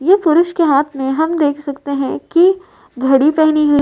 ये पुरुष के हाथ में हम देख सकते है कि घड़ी पहनी हुई --